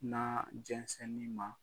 N'a jɛnsɛnnin ma.